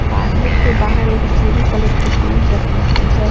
Parlour के बाहर एक भूरी कलर की टूल रखी हुई है।